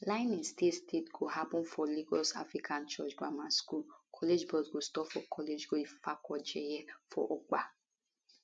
lying in state state go happun for lagos african church grammar school college bus stop college road ifakoijaiye for ogba